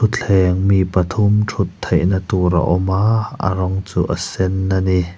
thutthleng mi pathum thut theihna tur a awma a rawng chu a sen ani.